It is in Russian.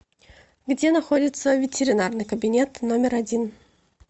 где находится ветеринарный кабинет номер один